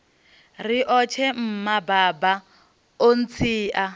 riotshe mma baba o ntsia